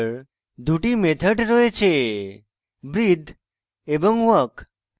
দুটি methods রয়েছে breathe এবং walk